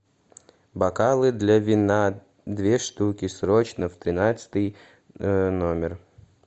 бокалы для вина две штуки срочно в тринадцатый номер